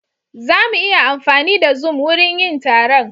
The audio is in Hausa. Za mu iya amfani da zoom wurin yin taron.